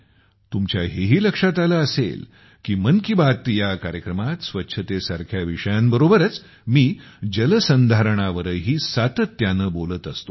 तुमच्या हेही लक्षात आले असेल की मन की बात या कार्यक्रमात स्वच्छतेसारख्या विषयांबरोबरच मी जलसंधारणावरही सातत्याने बोलत असतो